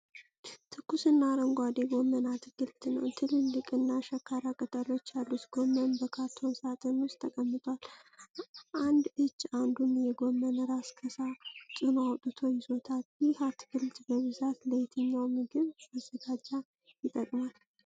ትኩስና አረንጓዴ ጎመን አትክልት ነው። ትልልቅ እና ሸካራ ቅጠሎች ያሉት ጎመን በካርቶን ሣጥን ውስጥ ተቀምጧል። አንድ እጅ አንዱን የጎመን ራስ ከሳጥኑ አውጥቶ ይዞታል። ይህ አትክልት በብዛት ለየትኛው ምግብ ማዘጋጃ ይጠቅማል?